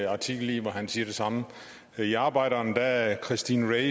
artikel i hvor han siger det samme i arbejderen er er christine